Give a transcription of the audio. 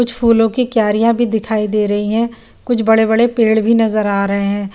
कुछ फूलो की क्यारियाँ भी दिखाई दे रही हे कुछ बड़े-बड़े पेड भी नज़र आ रहे हैं।